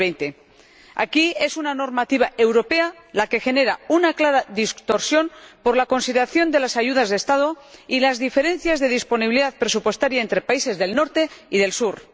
2020. Aquí, es una normativa europea la que genera una clara distorsión, por la consideración de las ayudas de Estado y las diferencias de disponibilidad presupuestaria entre países del norte y del sur.